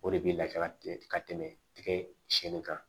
O de bɛ lafiya tigɛ ka tɛmɛ tigɛ si in kan